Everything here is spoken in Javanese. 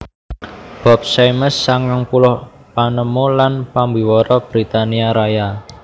Bob Symes sangang puluh panemu lan pambiwara Britania Raya